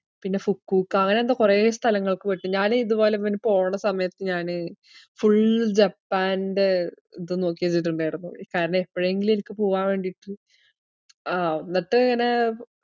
പിന്നെ ഫുക്കൂക്ക അങ്ങനെയെന്തോ കൊറേ സ്ഥലങ്ങൾക്ക് പോയിട്ട് ഞാന് ഇതുപോലെ പിന്നെ പോവണ്ട സമയത്ത് ഞാന് full ജപ്പാൻറെ ഇത് നോക്കിവെച്ചിട്ടുണ്ടായിരുന്നു. കാരണം എപ്പഴെങ്കിലും എനിക്ക് പോവാൻ വേണ്ടീട്ട് ആഹ് എന്നിട്ട് ഇങ്ങനെ